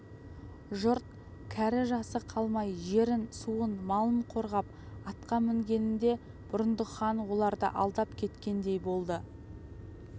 жұрт кәрі-жасы қалмай жерін суын малын қорғап атқа мінгенінде бұрындық хан оларды алдап кеткендей болды